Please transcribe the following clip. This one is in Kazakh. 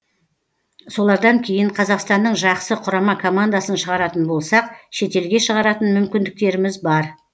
солардан кейін қазақстанның жақсы құрама командасын шығаратын болсақ шетелге шығаратын мүмкіндіктеріміз бар